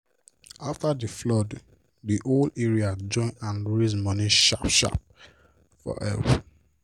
after d flood d whole area join hand raise money sharp sharp for help.